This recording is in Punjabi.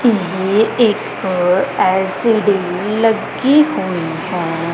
ਇਹ ਇੱਕ ਐਲ_ਸੀ_ਡੀ ਲੱਗੀ ਹੋਈ ਹੈ।